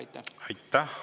Aitäh!